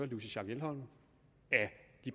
louise schack elholm